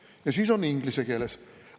– ja siis on inglise keeles.